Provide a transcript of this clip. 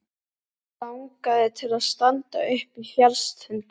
Þær langaði til að standa uppi á fjallstindinum.